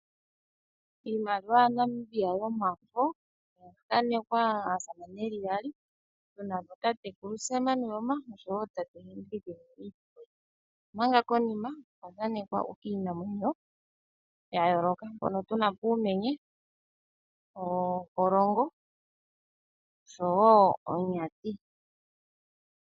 Iimaliwa ya Namibia yomafo okwa thanekwa aasamane yeli yaali tunako tatekulu Sam Nuujoma oshowo tate Hendrick Witbooi, omanga konima kwa thanekwa iinamwenyo ya yooloka hono tunako uumenye, ooholongo oshowo oonyati.